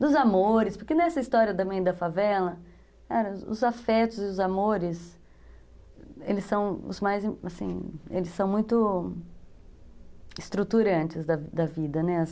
Dos amores, porque nessa história da mãe da favela, os afetos e os amores, eles são os mais, assim, eles são muito estruturantes da vida, né?